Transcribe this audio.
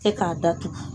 E k'a datugu